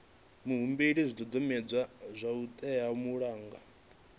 muhumbeli zwidodombedzwa zwo teaho malugana